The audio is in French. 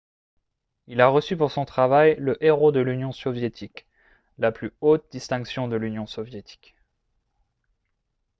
il a reçu pour son travail le « héros de l’union soviétique » la plus haute distinction de l’union soviétique